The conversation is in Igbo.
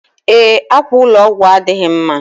Ee, akwa ụlọ ọgwụ adịghị mma.